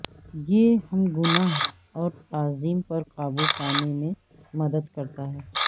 یہ ہم گناہ اور تعظیم پر قابو پانے میں مدد کرتا ہے